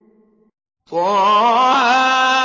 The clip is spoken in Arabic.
طه